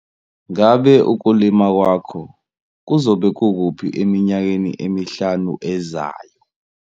Ngabe ukulima kwakho kuzobe kukuphi eminyakeni emihlanu ezayo?